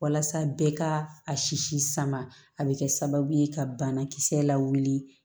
Walasa bɛɛ ka a sisi sama a bɛ kɛ sababu ye ka banakisɛ lawuli